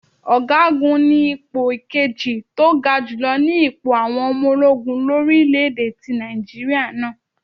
Ọ̀gá gun ni ipò kejì tó ga jùlọ ni ipò àwọn ọmọ ológun orí ilé ti Nàìjíríà náà.